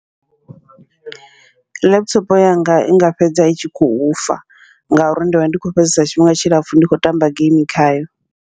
Laptop yanga inga fhedza i tshi khou fa, ngauri ndivha ndi kho fhedzesa tshifhinga tshilapfhu ndi kho tamba geimi khayo.